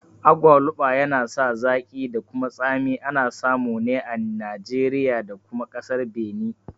Agwaluba yana sa zaƙi da kuma tsami, ana samu ne a Nijeriya da kuma ƙasar Beni